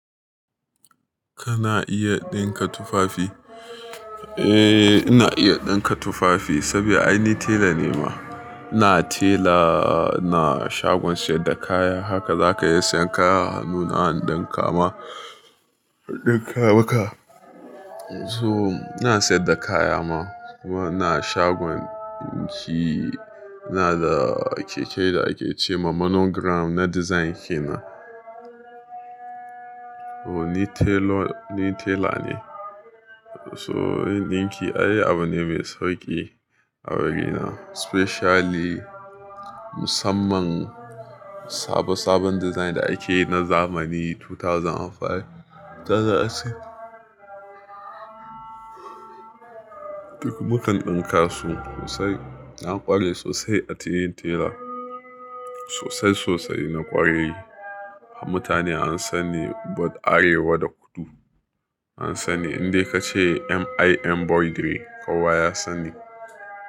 Kana iya dinka tufafi? Eh, ina iya dinka tufafi saboda ai ni tela ne ma. Ina tela, ina shagon siyar da kaya, haka za ka iya sayan kaya, a hannuna in dinka ma, in dinka maka. So ina siyar da kaya ma, kuma ina shagon dinki, ina da keke da ake ce ma monogram na design ke na. Oh! Ni telo, ni tela ne. So dinki ai abu ne mai sauƙi a birni, especially musamman sabo sabon design da ake yi na zamani dubu biyu da biyar, dubu biyu da shida. Duk mukan dinka su sosai. Na ƙware sosai a cikin tela. Sosai sosai na ƙwarai. Mutane an sani bod Arewa da kudu an sanni. Indai ka ce MIM Bodrey kowa ya sanni.